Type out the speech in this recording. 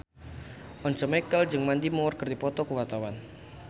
Once Mekel jeung Mandy Moore keur dipoto ku wartawan